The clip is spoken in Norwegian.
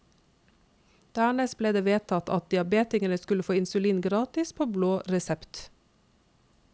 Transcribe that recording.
Dernest ble det vedtatt at diabetikerne skulle få insulin gratis på blå resept.